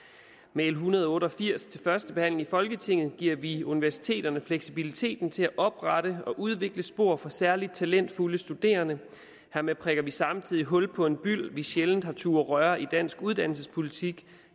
med l en hundrede og otte og firs til første behandling i folketinget giver vi universiteterne fleksibiliteten til at oprette og udvikle spor for særlig talentfulde studerende hermed prikker vi samtidig hul på en byld vi sjældent har turdet røre i dansk uddannelsespolitik